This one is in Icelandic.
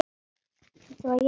Veistu hvað ég á við?